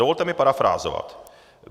Dovolte mi parafrázovat.